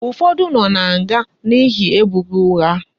Ufodu no na nga n'ihe ebubo ugha